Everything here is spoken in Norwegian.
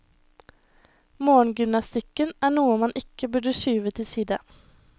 Morgengymnastikken er noe man ikke burde skyve til side.